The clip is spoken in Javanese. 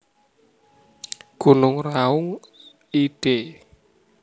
Gunung Raung id